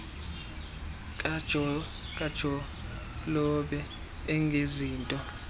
irnibongo kajolobe engezinto